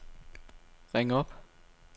ring op